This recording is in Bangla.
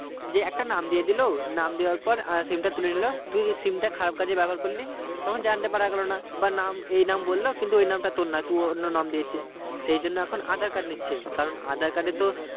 যে একটা নাম দিয়ে দিলো নাম দিয়ার পর SIM তা তুলে নিলো তুই SIM টা খারাপ কাজে ব্যবহার করলি তখন জানতে পৰ গেলো না বা নাম এই নাম বললো কিন্তু এই নাম তা তোর নোই তুই অন্য নাম দিয়েছিস সেই জন এখন aadhar card নিচ্ছে, কারণ aadhar card এ তো